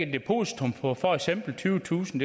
depositum på for eksempel tyvetusind